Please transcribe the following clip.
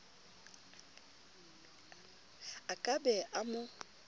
a ka be a mo